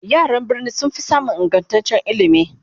yaran birni sunfi samun ingantaccen ilimi